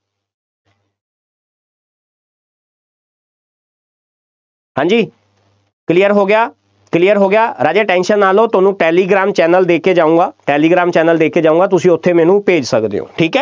ਹਾਂ ਜੀ clear ਹੋ ਗਿਆ clear ਹੋ ਗਿਆ, ਰਾਜੇ tension ਨਾ ਲਓ, ਤੁਹਾਨੂੰ ਟੈਲੀਗ੍ਰਾਮ channel ਦੇ ਕੇ ਜਾਊਂਗਾ, ਟੈਲੀਗ੍ਰਾਮ channel ਦੇ ਕੇ ਜਾਊਂਗਾ, ਤੁਸੀਂ ਉੱਥੇ ਮੈਨੂੰ ਭੇਜ ਸਕਦੇ ਹੋ, ਠੀਕ ਹੈ।